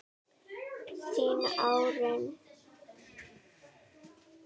Þín, Árný.